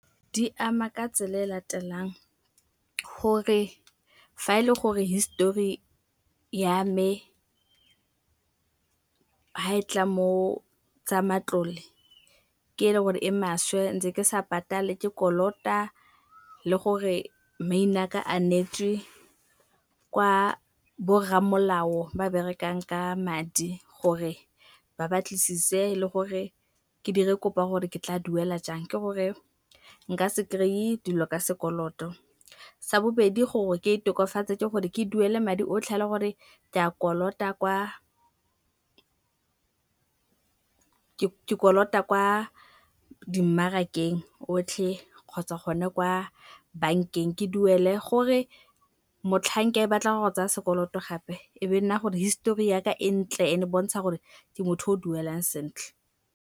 Di ama ka tsela e latelang, gore fa e le gore histori ya me ha e tla mo tsa matlole, ke e le gore e maswe, ntse ke sa patale, ke kolota le gore maina 'ka a neetswe kwa borramolao ba berekang ka madi gore ba batlisise le gore ke dire kop'a gore ke tla duela jang, ke gore nka se kry-e dilo ka sekoloto. Sa bobedi gore ke itokafatse, ke gore ke duele madi otlhe a ele gore ke kolota kwa dimmarakeng otlhe kgotsa gone kwa bankeng. Ke duele gore motlhang ke batla gwa go tsaya sekoloto gape, e be nna gore histori ya ka e ntle ene bontsha gore motho o duelang sentle.